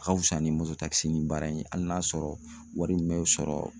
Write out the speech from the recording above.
A ka fisa ni mototakisinin baara in ye, hali n'a sɔrɔ wari min bɛ sɔrɔ